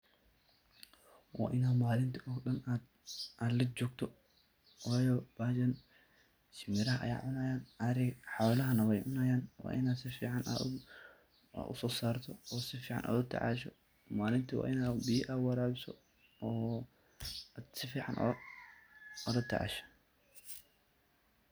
Wa Ina malinta oo daan AA lajoktoh, wayi bahashan shimbeera Aya cunaya, hoolaha nah wacuunayin, wa Ina sufican u AA u so soortoh, oo sufican ula tacashoo malinti wa Ina biyaa AA warabisoh oo sufacan ulatacashoh .